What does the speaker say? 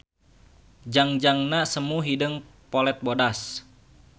Jangjangna semu hideung polet bodas.